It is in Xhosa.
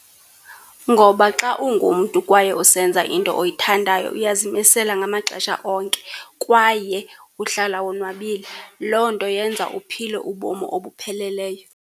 Ngoba xa ungumntu kwaye usenza into oyithandayo uyazimisela ngamaxesha onke, kwaye uhlala wonwabile. Loo nto yenza uphile ubomi obupheleleyo.